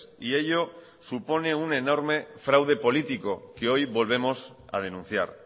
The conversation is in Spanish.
y ello supone un enorme fraude político que hoy volvemos a denunciar